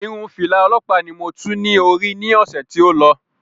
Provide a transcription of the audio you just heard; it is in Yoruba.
Irun fìlà òlọ́ọ̀pá ni mo tú ní orí ní ọ̀sè tí o lọ